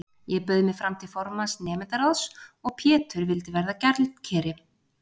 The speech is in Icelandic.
Ég bauð mig fram til formanns nemendaráðs og Pétur vildi verða gjaldkeri.